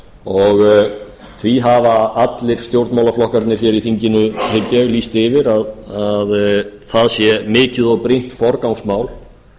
og því hafa allir stjórnmálaflokkar í þinginu hygg ég lýst yfir að það sé mikið og brýnt forgangsmál